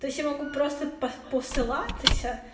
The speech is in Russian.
то есть я могу просто посылатыся